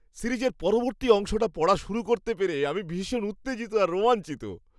সিরিজের পরবর্তী অংশটা পড়া শুরু করতে পেরে আমি ভীষণ উত্তেজিত আর রোমাঞ্চিত!